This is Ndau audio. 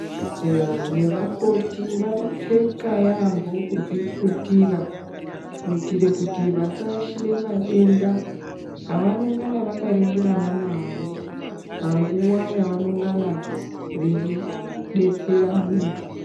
Eya, nevakoti vanopfeka yaambo kudziputira kuitire kuti vasaashire madenda avanongana vakaringirana nawo, panguwa yavanongana veidetsera muntu.